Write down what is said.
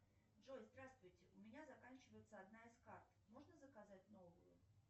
джои здравствуйте у меня заканчивается одна из карт можно заказать новую